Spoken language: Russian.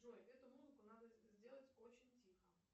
джой эту музыку надо сделать очень тихо